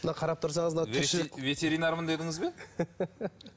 мына қарап тұрсаңыз мына тіршілік ветеринармын дедіңіз бе